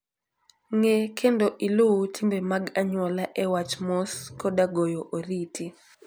Ng'e kendo iluw timbe mag anyuola e wach mos koda goyo oriti.